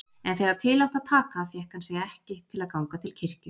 En þegar til átti að taka fékk hann sig ekki til að ganga til kirkju.